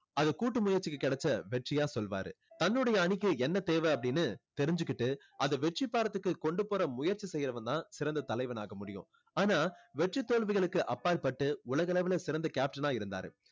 அதைக் கூட்டு முயற்சிக்கு கிடைச்ச வெற்றியா சொல்லுவாரு. தன்னுடைய அணிக்கு என்ன தேவை அப்படின்னு தெரிஞ்சுக்கிட்டு அதை வெற்றிப்பெறத்துக்கு கொண்டு போற முயற்சி செய்றவன் தான் சிறந்த தலைவனாக முடியும். ஆனா வெற்றி தோல்விகளுக்கு அப்பாற்பட்டு உலகளவில சிறந்த கேப்டனா இருந்தாரு.